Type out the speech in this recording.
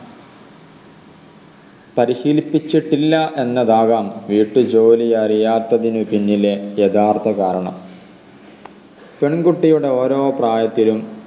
പരിശീലിപ്പിച്ചിട്ടില്ല എന്നതാകാം വീട്ടുജോലി അറിയാത്തതിനു പിന്നിലെ യഥാർത്ഥ കാരണം പെൺകുട്ടിയുടെ ഓരോ പ്രായത്തിലും